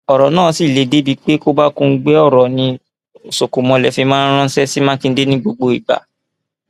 ọrọ náà sì le débii pé kòbákùngbé ọrọ ni ọṣọkọmọlẹ fi máa ń ránṣẹ sí mákindè ní gbogbo ìgbà